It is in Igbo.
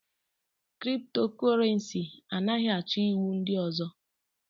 Kriptokurenci anaghị achọ iwu ndị ọzọ.